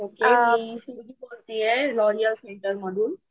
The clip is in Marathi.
ओके मी शिवाली बोलतीये लॉरिअल सेंटर मधून.